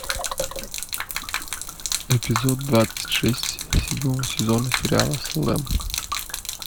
эпизод двадцать шесть седьмого сезона сериала салем